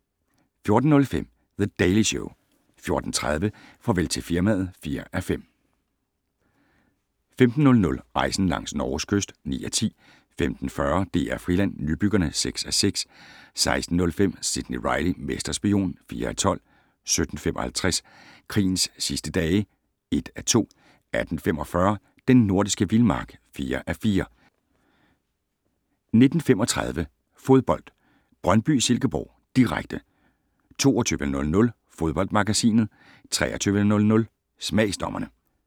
14:05: The Daily Show 14:30: Farvel til firmaet (4:5) 15:00: Rejsen langs Norges kyst (9:10) 15:40: DR Friland: Nybyggerne (6:6) 16:05: Sidney Reilly - mesterspion (4:12) 17:55: Krigens sidste dage (1:2) 18:45: Den nordiske vildmark (4:4) 19:35: Fodbold: Brøndby-Silkeborg, direkte 22:00: Fodboldmagasinet 23:00: Smagsdommerne